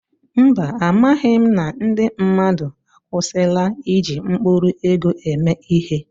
Mba, amaghị m na ndị mmadụ akwụsịla iji mkpụrụ ego eme ihe.